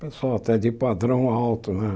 Pessoal até de padrão alto, né?